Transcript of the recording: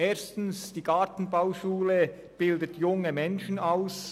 Erstens bildet die Gartenbauschule junge Menschen aus.